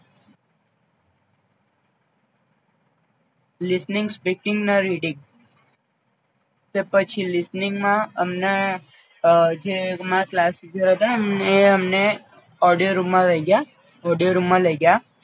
Listening, speaking and reading તો પછી Listening માં અમને અ જે અમારા ક્લાસટીચર હતા ન એ અમને ઓડિયોરૂમમાં લઈ ગ્યાં ઓડિયોરૂમમાં લઈ ગ્યાં